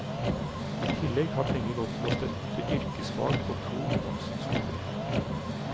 I tillegg har penger gått til å støtte yrkesfag på to ungdomsskoler.